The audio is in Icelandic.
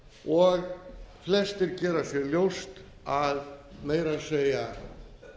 og flestir gera sér ljóst að meira að